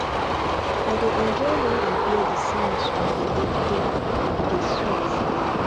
i dey enjoy wen i hear the sounds of the ekwe e dey sweet